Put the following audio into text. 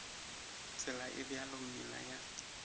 tsela e bjalo meela ya